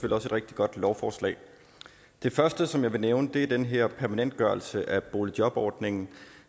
et rigtig godt lovforslag det første som jeg vil nævne er den her permanentgørelse af boligjobordningen